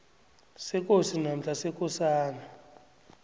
sekosi namkha sekosana